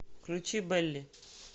включи бэлли